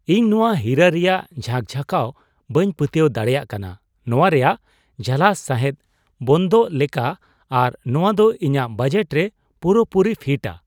ᱤᱧ ᱱᱚᱶᱟ ᱦᱤᱨᱟᱹ ᱨᱮᱭᱟᱜ ᱡᱷᱟᱠ ᱡᱷᱟᱠᱟᱣ ᱵᱟᱹᱧ ᱯᱟᱹᱛᱭᱟᱹᱣ ᱫᱟᱲᱮᱭᱟᱜ ᱠᱟᱱᱟ ! ᱱᱚᱶᱟ ᱨᱮᱭᱟᱜ ᱡᱷᱟᱞᱟᱥ ᱥᱟᱸᱦᱮᱫᱽ ᱵᱚᱱᱫᱚᱜ ᱞᱮᱠᱟ, ᱟᱨ ᱱᱚᱶᱟ ᱫᱚ ᱤᱧᱟᱜ ᱵᱟᱡᱮᱴ ᱨᱮ ᱯᱩᱨᱟᱹ ᱯᱩᱨᱤᱭ ᱯᱷᱤᱴᱼᱟ ᱾